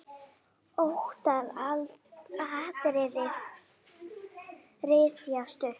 Ótal atriði rifjast upp.